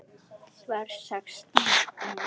Verð sextán í næsta mánuði.